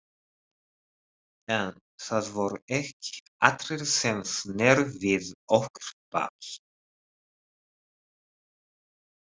En það voru ekki allir sem sneru við okkur baki.